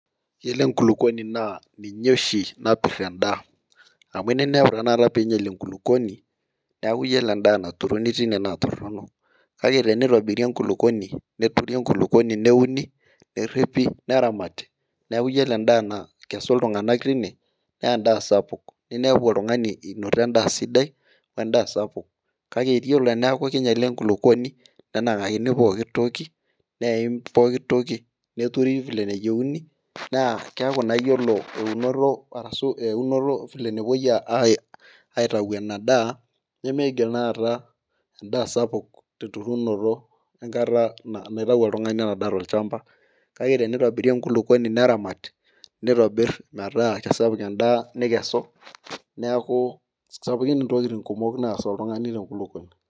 Iyiolo enkulupuoni naa ninye oshi napit te daa, meeta tenakata pee ingial enkulupuoni neeku iyiolo edaa naturuni teine naa torono, kake tenitobiri enkulupuoni, neturi enkulupuoni neuni neripi, neramati, neeku iyiolo edaa nakesu iltunganak teina, naa edaa sapuk, ninepu oltungani, inoto edaa sidai wedaa sapuk, kake iyiolo teneeku king'iala enkulupuoni, nenangakini pooki toki, neim, pooki toki neturi vile nayieuni, naa keeku naa iyiolo eunoto, arshu eunoto vile nepuoi aitayu Ina daa, nemeigil naa aata edaa sapuk, tenetuuno enkata, naitayu oltungani ena daa tolchampa, kake tenitobiri enkulupuoni neramati, nitobir metaa kisapuk edaa nikesu, neeku sapukin ntokitin kumok naas oltungani. Te nkulupuoni.